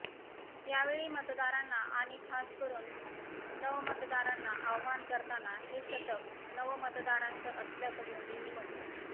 यावेळी मतदारांना आणि खासकरून नवमतदारांना आवाहन करताना हे शतक नवमतदारांचं असल्याचं मोदींनी म्हटलं